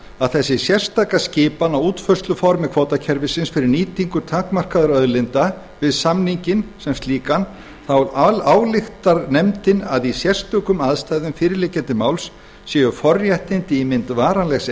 að þessi sérstaka skipan á útfærsluformi kvótakerfisins fyrir nýtingu takmarkaðra auðlinda við samninginn sem slíkan álykti nefndin að í sérstökum aðstæðum fyrirliggjandi máls séu forréttindi í mynd varanlegs